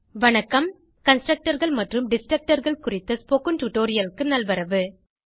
C ல் Constructorகள் மற்றும் Destructorகள் குறித்த ஸ்போகன் டுடோரியலுக்கு நல்வரவு